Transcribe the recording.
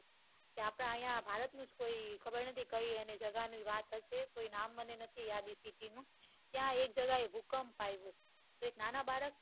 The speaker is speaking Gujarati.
કીએ આપણા અહિયાં ભારત નું કોઈ ખબર નથી જગા ની વાત કરશે તો નામ મને નથી યાદ એ city નું ત્યાં એક જગ્યા એ ભૂકંપ આવીયો એક નાના બાળક